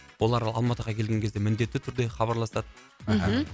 олар алматыға келген кезде міндетті түрде хабарласады мхм